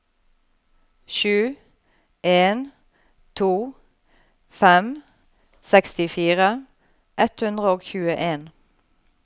sju en to fem sekstifire ett hundre og tjueen